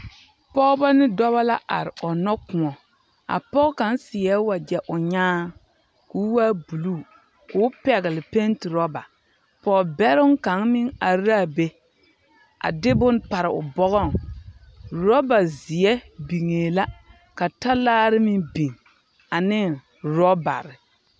Pɔgeba ne dɔba la are ɔnnɔ kõɔ. A pɔge kaŋ seɛɛ wagyɛ o nyaaŋ, ka o waa buluu, ka o a pɛgele penti oraba. Pɔge bɛroŋ kaŋ meŋ are a be, a de bone pare o bɔgɔŋ. Oraba zeɛ biŋee la, ka talaare meŋ biŋ ane orɔbare.